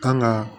Kan ga